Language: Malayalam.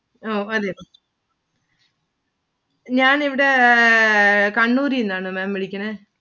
അഹ് പറയു ഞാൻ ഇവിടെ കണ്ണൂരിന്നാണ്‌ Maám വിളിക്കണേ.